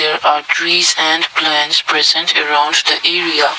that are trees and plants present around the area.